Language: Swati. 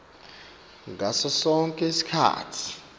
ngaso sonkhe sikhatsi